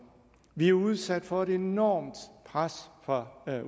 vi er jo udsat for et enormt pres fra